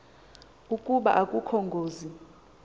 ukuba akukho ngozi